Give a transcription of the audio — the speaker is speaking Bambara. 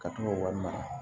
Ka to k'o wari mara